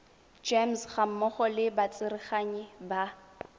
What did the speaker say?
gems gammogo le batsereganyi ba